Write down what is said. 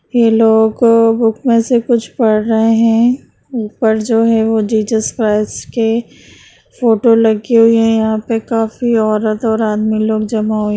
ये लोग बुक में से कुछ पढ़ रहे है ऊपर जो है वो जीसस क्रस के फोटो लगी हुई है यहां पे काफी औरत और आदमी लोग जमा हुए --